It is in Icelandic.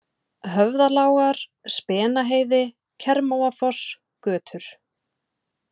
Höfðalágar, Spenaheiði, Kermóafoss, Götur